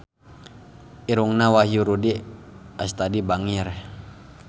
Irungna Wahyu Rudi Astadi bangir